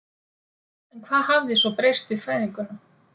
En hvað hafði svo breyst við fæðinguna?